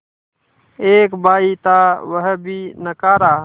एक भाई था वह भी नाकारा